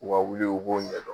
U ka wuli u b'o ɲɛ dɔn.